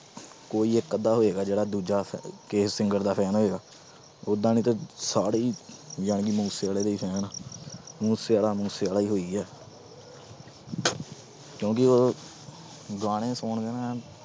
ਕੋਈ ਇੱਕ ਅੱਧਾ ਹੋਏਗਾ ਜਿਹੜਾ ਦੂਜਾ ਕਿਸੇ singer ਦਾ fan ਹੋਏਗਾ, ਓਦਾਂ ਨਹੀਂ ਤੇ ਸਾਰੇ ਹੀ ਜਾਣੀ ਕਿ ਮੂਸੇਵਾਲੇ ਦੇ ਹੀ fan ਆਂ ਮੂਸੇਵਾਲਾ ਮੂਸੇਵਾਲਾ ਹੀ ਹੋਈ ਹੈ ਕਿਉਂਕਿ ਉਹ ਗਾਣੇ ਸੁਣਕੇ